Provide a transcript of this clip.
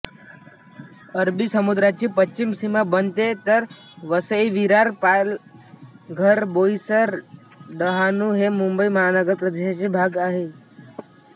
अरबी समुद्राची पश्चिम सीमा बनते तर वसईविरार पालघरबोईसर डहाणू हे मुंबई महानगर प्रदेशाचे भाग आहे